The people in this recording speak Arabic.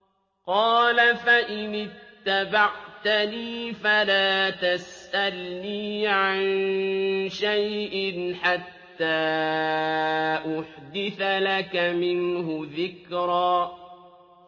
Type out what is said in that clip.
قَالَ فَإِنِ اتَّبَعْتَنِي فَلَا تَسْأَلْنِي عَن شَيْءٍ حَتَّىٰ أُحْدِثَ لَكَ مِنْهُ ذِكْرًا